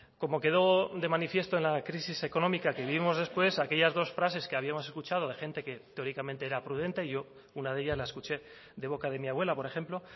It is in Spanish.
como quedó de manifiesto en la crisis económica que vivimos después aquellas dos frases que habíamos escuchando de gente que teóricamente era prudente yo una de ellas la escuché de boca de mi abuela por ejemplo